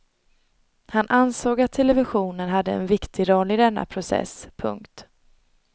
Han ansåg att televisionen hade en viktig roll i denna process. punkt